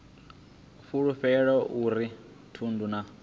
fulufhelo a uri thundu na